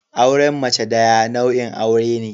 Auren mace daya nau'in aure ne.